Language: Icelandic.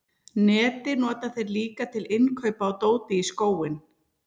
netið nota þeir líka til innkaupa á dóti í skóinn